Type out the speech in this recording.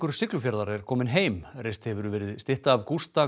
Siglufjarðar er kominn heim reist hefur verið stytta af Gústa